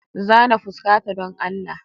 Zana fuskata don Allah.